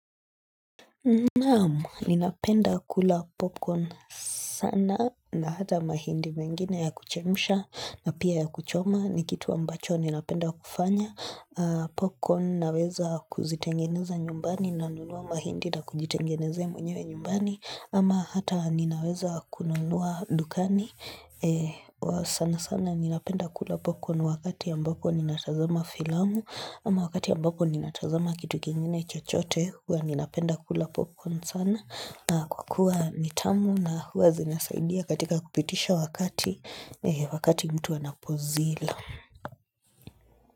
Naam, ninapenda kula popcorn sana na hata mahindi mengine ya kuchemsha na pia ya kuchoma ni kitu ambacho ninapenda kufanya. Popcorm naweza kuzitengeneza nyumbani nanunua mahindi na kujitengenezea mwenyewe nyumbani ama hata ninaweza kununua dukani. Sana sana ninapenda kula popcorn wakati ambapo ninatazama filamu ama wakati ambapo ninatazama kitu kingine chochote, huwa ninapenda kula popcorn sana kwa kua ni tamu na huwa zinasaidia katika kupitisha wakati, wakati mtu anapozila.